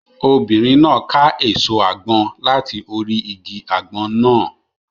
Obìnrin náà ká èso àgbọn láti orí igi àgbọn náà.